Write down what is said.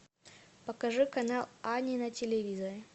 покажи канал ани на телевизоре